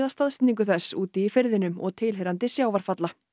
staðsetningu þess úti í firðinum og tilheyrandi sjávarfalla